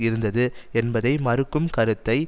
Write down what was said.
இருந்தது என்பதை மறுக்கும் கருத்தை